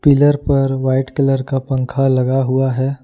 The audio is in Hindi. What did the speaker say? पीलर पर व्हाइट कलर का पंखा लगा हुआ है।